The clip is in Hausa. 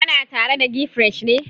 Kana tare da gfresh ne?